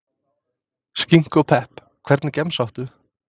Skinku og pepp Hvernig gemsa áttu?